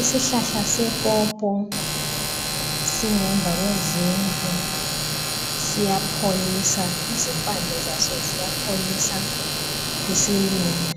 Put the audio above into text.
Isihlahla sepopo singemva kwezindlu. Siyapholisa. Impande zazo ziyapholisa isilumo,